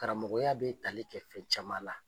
Karamɔgɔya bɛ tali kɛ fɛn caman la